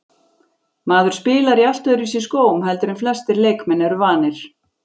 Maður spilar í allt öðruvísi skóm heldur en flestir leikmenn eru vanir.